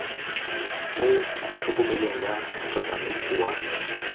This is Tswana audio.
mo tlhokomelong ya motsamaisi wa